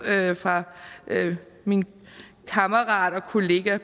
fra min kammerat og kollega